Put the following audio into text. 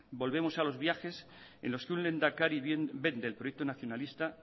volvemos a los viajes en los que un lehendakari vende el proyecto nacionalista